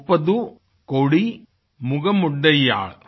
मुप्पदु कोडी मुगमुडैयाळ